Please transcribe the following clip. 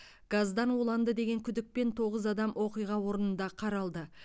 газдан уланды деген күдікпен тоғыз адам оқиға орнында қаралды